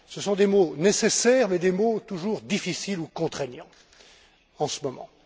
Ce sont des mots nécessaires, mais des mots toujours difficiles ou contraignants, en ce moment.